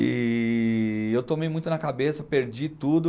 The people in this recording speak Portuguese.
E eu tomei muito na cabeça, perdi tudo.